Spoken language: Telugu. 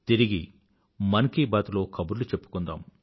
తిరిగి మన్ కీ బాత్ లో కబుర్లు చెప్పుకుందాం